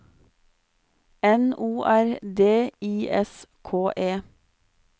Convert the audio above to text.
N O R D I S K E